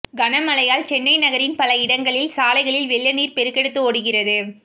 கனமழையால் சென்னை நகரின் பல இடங்களில் சாலைகளில் வெள்ளநீர் பெருக்கெடுத்து ஓடுகிறது